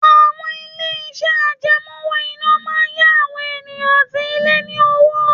Àwọn ilé-iṣẹ́ àjẹmọ́ owó-ìná máa ń yá àwọn èèyàn àti ilé ní owó